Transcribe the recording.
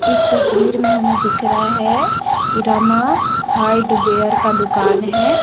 इस तस्वीर में हमें दिख रहा हैं रमा हार्डवेयर का दुकान है।